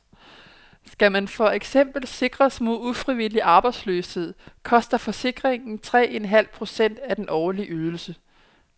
Skal man for eksempel sikres mod ufrivillig arbejdsløshed, koster forsikringen tre en halv procent af den årlige ydelse.